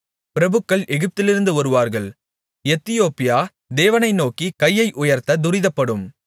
பிரபுக்கள் எகிப்திலிருந்து வருவார்கள் எத்தியோப்பியா தேவனை நோக்கி கையை உயர்த்த துரிதப்படும்